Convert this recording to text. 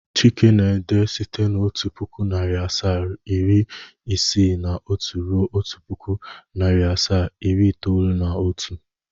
Chike na-ede site otu pụkụ, narị asaa, iri isii na otu ruo otu pụkụ, narị asaa, iri itoolu na otu